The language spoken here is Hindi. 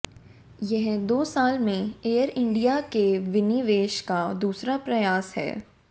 यह दो साल में एयर इंडिया के विनिवेश का दूसरा प्रयास है